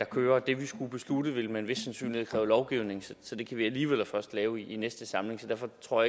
kører det vi skulle beslutte ville med en vis sandsynlighed kræve lovgivning så det kan vi alligevel først lave i næste samling så derfor tror